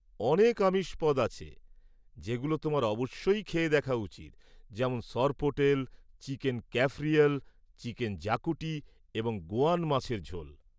অনেক আমিষ পদ আছে যেগুলো তোমার অবশ্যই খেয়ে দেখা উচিত যেমন সরপোটেল, চিকেন ক্যাফরিয়াল, চিকেন জাকুটি এবং গোয়ান মাছের ঝোল।